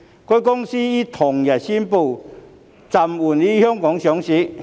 該公司於同日宣布暫緩於香港上市。